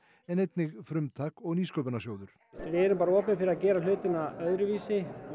en einnig frumtak og Nýsköpunarsjóður við erum opin fyrir að gera hlutina öðruvísi og